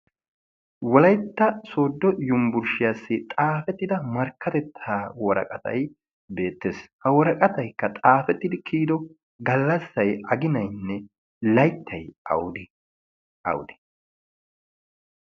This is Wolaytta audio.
wolaytta sodo yumbburshshiyaassi xaafettida markkatettaa woraqatay beettees ha woraqataykka xaafettidi kiyido gallassay aginaynne layttay awude awude